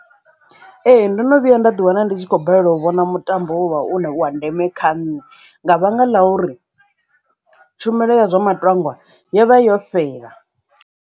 Ee, ndo no vhuya nda ḓi wana ndi tshi khou balelwa u vhona mutambo u ne wa ndeme kha nṋe nga vhanga ḽa uri tshumelo ya zwo matangwa yo vha yo fhela.